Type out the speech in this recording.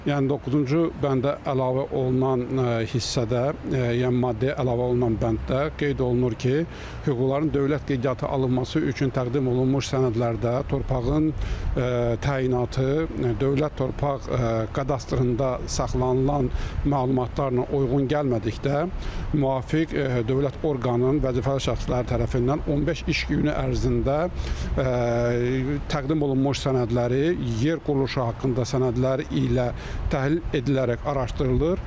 Yəni doqquzuncu bəndə əlavə olunan hissədə, yəni maddiyə əlavə olunan bənddə qeyd olunur ki, hüquqların dövlət qeydiyyatı alınması üçün təqdim olunmuş sənədlərdə torpağın təyinatı dövlət torpaq kadastrında saxlanılan məlumatlarla uyğun gəlmədikdə müvafiq dövlət orqanının vəzifəli şəxsləri tərəfindən 15 iş günü ərzində təqdim olunmuş sənədləri yer quruluşu haqqında sənədlər ilə təhlil edilərək araşdırılır.